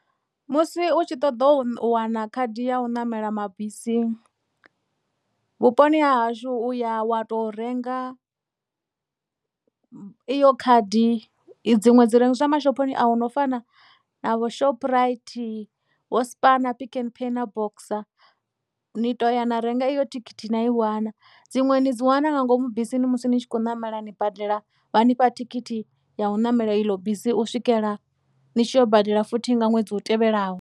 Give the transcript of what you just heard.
Musi u tshi ṱoḓa u wana khadi ya u ṋamela mabisi vhuponi ha hashu uya wa to renga iyo khadi i dziṅwe dzi rengiswa mashophoni a hu no fana na vho shoprite vho spar na pick and pay na boxer ni to ya na renga iyo thikhithi na i wana dziṅwe ni dzi wana nga ngomu bisini musi ni tshi kho ṋamela ni badela vha nifha thikhithi ya u ṋamela ilo bisi u swikela ni tshi ya u badela futhi nga ṅwedzi u tevhelaho.